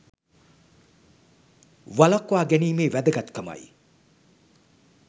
වළක්වා ගැනීමේ වැදගත්කමයි